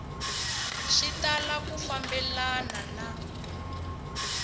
swi tala ku fambelena na